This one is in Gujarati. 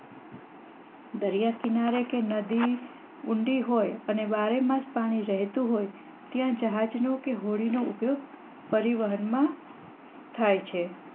દરિયા કિનારે કે નદી ઉંડી હોય અને બારેમાસ પાણી વહેતું હોય ત્યાં જહાજ કે હોડી નો ઉપયોગ પરિવહન માં થાય છે.